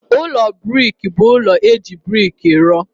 Ụlọ brik bụ ụlọ e ji brik rụọ.